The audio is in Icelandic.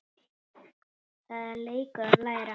Það er leikur að læra